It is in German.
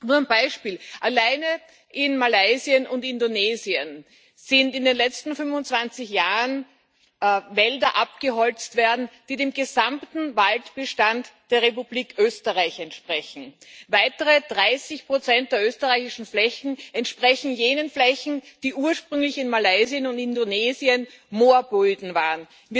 Nur ein Beispiel Alleine in Malaysia und Indonesien sind in den letzten 25 Jahren Wälder abgeholzt worden, die dem gesamten Waldbestand der Republik Österreich entsprechen. Weitere 30 der österreichischen Flächen entsprechen jenen Flächen, die ursprünglich in Malaysia und Indonesien Moorböden waren.